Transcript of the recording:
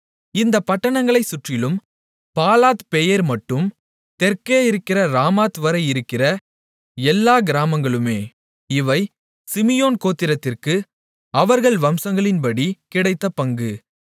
இந்தப் பட்டணங்களைச் சுற்றிலும் பாலாத்பெயேர்மட்டும் தெற்கே இருக்கிற ராமாத்வரை இருக்கிற எல்லாக் கிராமங்களுமே இவை சிமியோன் கோத்திரத்திற்கு அவர்கள் வம்சங்களின்படி கிடைத்த பங்கு